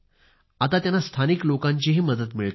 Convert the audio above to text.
आता त्यांना स्थानिक लोकांची मदत मिळते आहे